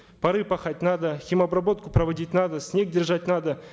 пары пахать надо хим обработку проводить надо снег держать надо